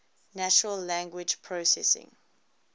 natural language processing